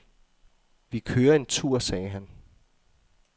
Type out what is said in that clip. Vi kører en tur, sagde han.